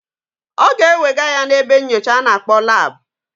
Ọ ga-ewega ya n'ebe nnyocha a na-akpọ lab.